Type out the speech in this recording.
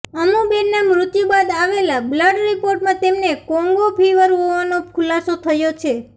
અમુબેનના મૃત્યુ બાદ આવેલા બ્લડ રિપોર્ટમાં તેમને કોંગો ફીવર હોવાનો ખુલાસો થયો છે